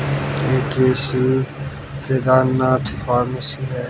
ये किसी केदारनाथ फार्मेसी है।